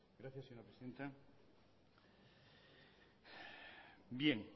gracias señora presidenta bien